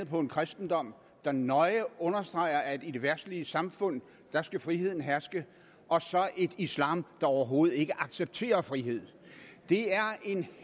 på kristendommen der nøje understreger at i det verdslige samfund skal friheden herske og islam der overhovedet ikke accepterer frihed det er en